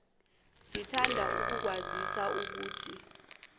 sithanda ukukwazisa ukuthi